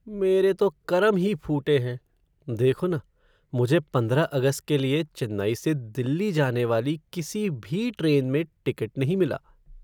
मेरे तो करम ही फूटे हैं, देखो न, मुझे पंद्रह अगस्त के लिए चेन्नई से दिल्ली जाने वाली किसी भी ट्रेन में टिकट नहीं मिला।